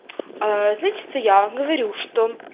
значится я говорю что